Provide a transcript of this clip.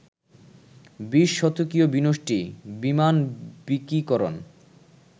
বিশ-শতকীয় বিনষ্টি, বিমানবিকীকরণ